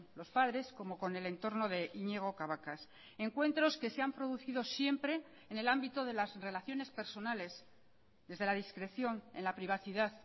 los padres como con el entorno de iñigo cabacas encuentros que se han producido siempre en el ámbito de las relaciones personales desde la discreción en la privacidad